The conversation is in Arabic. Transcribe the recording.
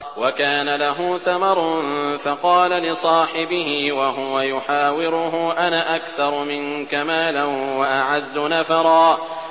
وَكَانَ لَهُ ثَمَرٌ فَقَالَ لِصَاحِبِهِ وَهُوَ يُحَاوِرُهُ أَنَا أَكْثَرُ مِنكَ مَالًا وَأَعَزُّ نَفَرًا